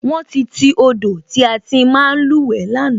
Wón ti ti odò tí a ti ń máa luwe lánàá